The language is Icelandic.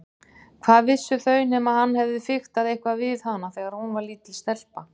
Hvað vissu þau nema hann hefði fiktað eitthvað við hana þegar hún var lítil stelpa.